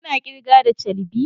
Kuna kirga da charbi?